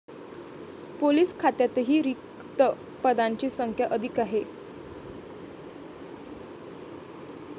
Police खात्यातही रिक्त पदांची संख्या अधिक आहे.